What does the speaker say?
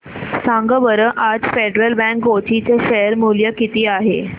सांगा बरं आज फेडरल बँक कोची चे शेअर चे मूल्य किती आहे